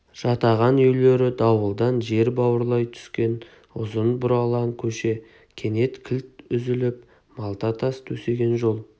жатаған үйлері дауылдан жер бауырлай түскен ұзын бұралаң көше кенет кілт үзіліп малта тас төсеген жол